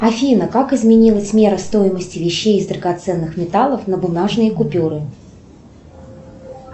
афина как изменилась мера стоимости вещей из драгоценных металлов на бумажные купюры